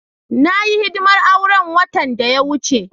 Na yi hidimar auren watan da ya wuce.